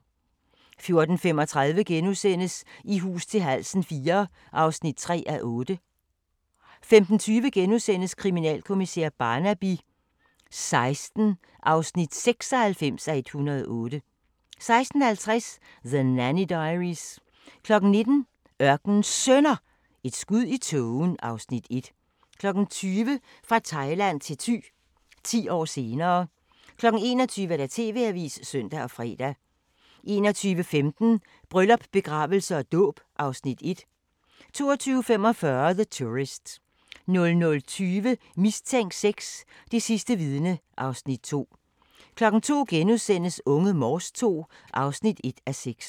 14:35: I hus til halsen IV (3:8)* 15:20: Kriminalkommissær Barnaby XVI (96:108)* 16:50: The Nanny Diaries 19:00: Ørkenens Sønner – Et skud i tågen (Afs. 1) 20:00: Fra Thailand til Thy – 10 år senere 21:00: TV-avisen (søn og fre) 21:15: Bryllup, begravelse og dåb (Afs. 1) 22:45: The Tourist 00:20: Mistænkt 6: Det sidste vidne (Afs. 2) 02:00: Unge Morse II (1:6)*